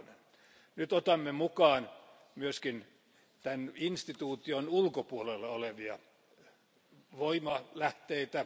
2. Nyt otamme mukaan myös tämän instituution ulkopuolella olevia voimanlähteitä.